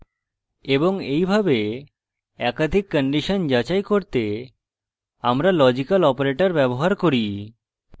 এবং এইভাবে একাধিক কন্ডিশন যাচাই করতে আমরা লজিক্যাল operators ব্যবহার করি